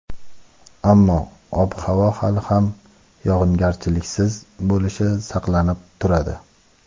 ammo ob-havo hali ham yog‘ingarchiliksiz bo‘lishi saqlanib turadi.